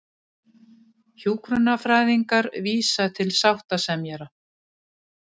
Hjúkrunarfræðingar vísa til sáttasemjara